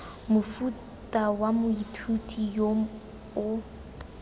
mofuta wa moithuti yo o